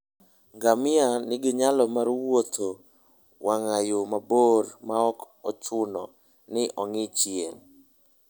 Ngamia nigi nyalo mar wuotho e wang' yo mabor maok ochuno ni ong'i chien.